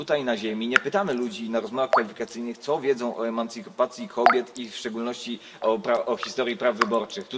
Tutaj na Ziemi nie pytamy ludzi na rozmowach kwalifikacyjnych, co wiedzą o emancypacji kobiet i w szczególności o historii praw wyborczych.